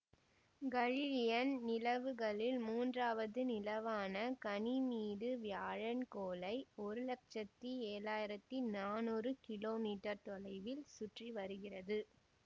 Galilean நிலவுகளில் மூன்றாவது நிலவான கனிமீடு வியாழன் கோளை ஒரு லட்சத்தி ஏழு ஆயிரத்தி நானூறு கிலோமீட்டர் தொலைவில் சுற்றிவருகிறது